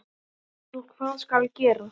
Svo hvað skal gera?